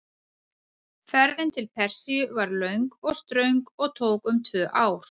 Ferðin til Persíu var löng og ströng og tók um tvö ár.